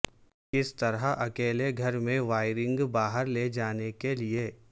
کس طرح اکیلے گھر میں وائرنگ باہر لے جانے کے لئے